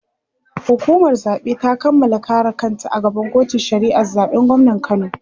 hukumar zaɓe ta Kamala kare kanta a gaban kotun shari'ar zaɓen gwamnan kano